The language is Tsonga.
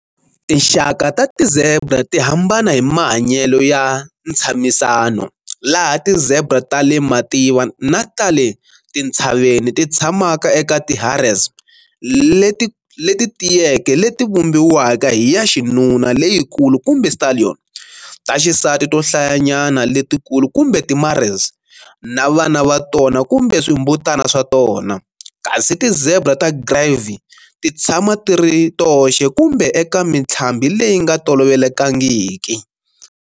Tinxaka ta ti zebra ti hambana hi mahanyelo ya ntshamisano, laha ti zebra ta le mativa na ta le tintshaveni ti tshamaka eka ti harems leti tiyeke leti vumbiwaka hi ya xinuna leyikulu kumbe stallion, ta xisati to hlayanyana letikulu kumbe ti mares, na vana va tona kumbe swimbutana swa tona, kasi ti-zebra ta Grévy ti tshama ti ri toxe kumbe eka mintlhambi leyi nga tolovelekangiki.